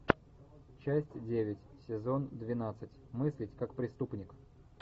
часть девять сезон двенадцать мыслить как преступник